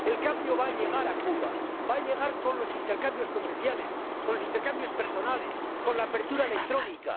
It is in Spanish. El cambio va a llegar a Cuba, va a llegar con los intercambios comerciales, con los intercambios personales, con la apertura electrónica.